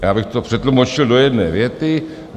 Já bych to přetlumočil do jedné věty.